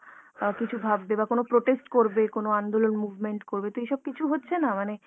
অ্যাঁ কিছু ভাববে বা কোনো protest করবে, কোনো আন্দোলন movement করবে। তো এইসব কিছু হচ্ছে না মানে